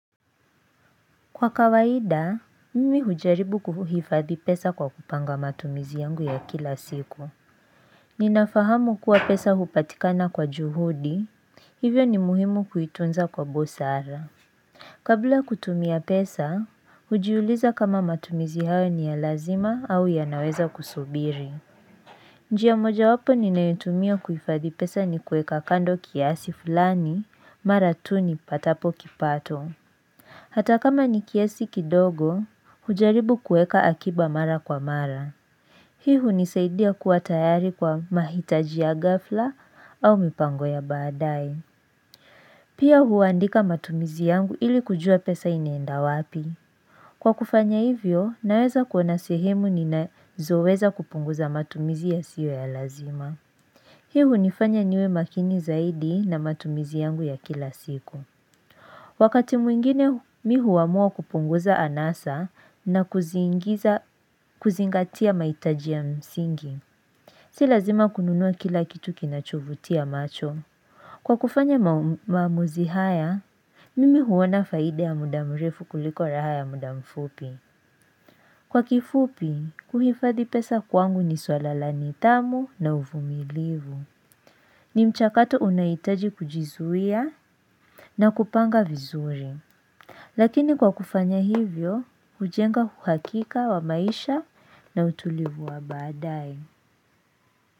Kwa kawaida, mimi hujaribu kuhifadhi pesa kwa kupanga matumizi yangu ya kila siku. Ninafahamu kuwa pesa hupatikana kwa juhudi, hivyo ni muhimu kuitunza kwa busara. Kabla kutumia pesa, ujiulize kama matumizi hayo ni ya lazima au yanaweza kusubiri. Njia moja wapo ninayutumia kuhifadhi pesa ni kuweka kando kiasi fulani mara tu nipatapo kipato. Hata kama nikiasi kidogo, ujaribu kueka akiba mara kwa mara. Hii hunisaidia kuwa tayari kwa mahitaji ya ghafla au mipango ya badaye. Pia huandika matumizi yangu ili kujua pesa inaenda wapi. Kwa kufanya hivyo, naweza kuona sehemu ninazoweza kupunguza matumizi yasiyo ya lazima. Hii hunifanya niwe makini zaidi na matumizi yangu ya kila siku. Wakati mwingine mi huamua kupunguza anasa na kuzingatia mahitaji ya msingi, si lazima kununua kila kitu kinacho vutia macho. Kwa kufanya maamuzi haya, mimi huona faida ya muda mrefu kuliko raha ya muda mfupi. Kwa kifupi, kuhifadhi pesa kwangu ni swala la nidhamu na uvumilivu. Ni mchakato unahitaji kujizuia na kupanga vizuri. Lakini kwa kufanya hivyo, hujenga uhakika wa maisha na utulivu wa baadaye.